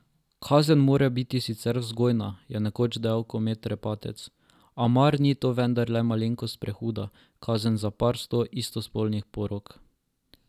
Kazen mora biti sicer vzgojna, je nekoč dejal Komet Repatec, a mar ni to vendarle malenkost prehuda kazen za par sto istospolnih porok?